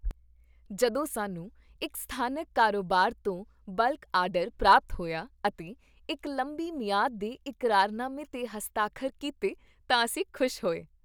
ਜਦੋਂ ਸਾਨੂੰ ਇੱਕ ਸਥਾਨਕ ਕਾਰੋਬਾਰ ਤੋਂ ਬਲਕ ਆਰਡਰ ਪ੍ਰਾਪਤ ਹੋਇਆ ਅਤੇ ਇੱਕ ਲੰਬੀ ਮਿਆਦ ਦੇ ਇਕਰਾਰਨਾਮੇ 'ਤੇ ਹਸਤਾਖਰ ਕੀਤੇ ਤਾਂ ਅਸੀਂ ਖੁਸ਼ ਹੋਏ।